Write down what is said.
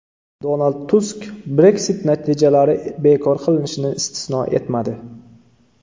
Donald Tusk Brexit natijalari bekor qilinishini istisno etmadi.